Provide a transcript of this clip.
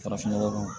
Farafinnɔgɔ